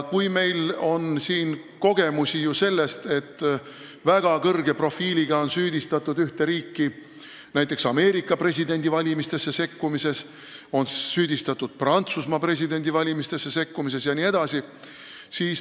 Meil on ju kogemusi, et väga kõrge profiiliga on süüdistatud ühte riiki näiteks Ameerika presidendivalimistesse sekkumises, on süüdistatud Prantsusmaa presidendivalimistesse sekkumises jne.